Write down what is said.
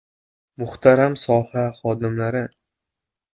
Muhtaram soha xodimlari!